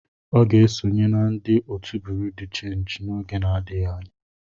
Ọ ga-esonye na ndị otu Buru di chenji n'oge adịghị anya.